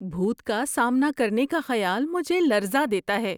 بھوت کا سامنا کرنے کا خیال مجھے لرزا دیتا ہے۔